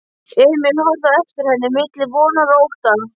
Emil horfði á eftir henni milli vonar og ótta.